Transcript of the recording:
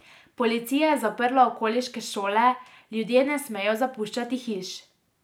Policija je zaprla okoliške šole, ljudje ne smejo zapuščati hiš.